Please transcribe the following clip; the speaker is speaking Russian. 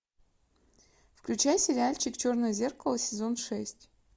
включай сериальчик черное зеркало сезон шесть